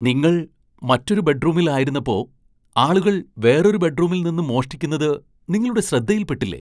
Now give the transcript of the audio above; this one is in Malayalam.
നിങ്ങൾ മറ്റൊരു ബെഡ്റൂമിൽ ആയിരുന്നപ്പോ ആളുകൾ വേറൊരു ബെഡ്റൂമിൽ നിന്ന് മോഷ്ടിക്കുന്നത് നിങ്ങളുടെ ശ്രദ്ധയിൽ പെട്ടില്ലേ ?